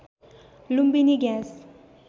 Lumbini gas